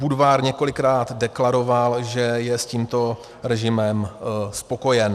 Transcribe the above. Budvar několikrát deklaroval, že je s tímto režimem spokojen.